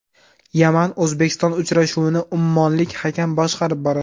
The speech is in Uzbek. Yaman O‘zbekiston uchrashuvini ummonlik hakam boshqarib boradi.